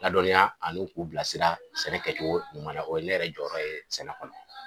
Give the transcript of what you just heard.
Ladɔnniya ani k'u bila sira sɛnɛ kɛ cogo ɲuman na. O ye ne yɛrɛ jɔ yɔrɔ ye sɛnɛ kɔnɔ.